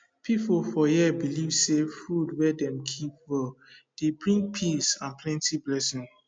people for here believe say food wey dem keep well dey bring peace and plenty blessing